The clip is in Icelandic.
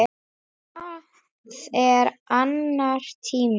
Það er annar tími.